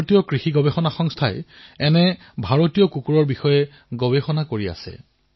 ভাৰতীয় কৃষি গৱেষণা পৰিষদেও ভাৰতীয় জাতৰ কুকুৰৰ ওপৰত গৱেষণা কৰি আছে